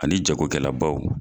Ani jago kɛla baw.